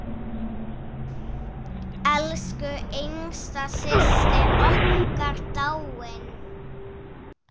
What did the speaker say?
Elsku yngsta systir okkar dáin.